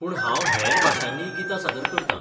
पूण हांव हेर भाशांनीय गितां सादर करतां.